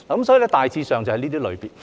所以，大致上就是這些類別。